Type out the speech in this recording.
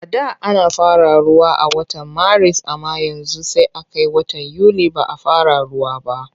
A da ana fara ruwa a watan Maris amma yanzu sai a kai watan Yuli ba a fara ruwa ba.